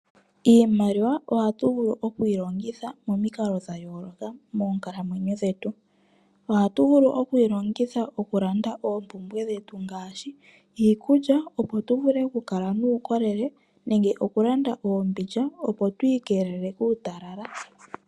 Iimaliwa ohatu vulu okwiilongitha momikalo dhayoloka moonkalamwenyo dhetu. Ohatu vulu okuyi longitha oku landa oompumbwe dhetu ngaashi iikulya opo tu vule oku kala nuukolele nenge oku landa oombindja opo tu iikelele kuutalala.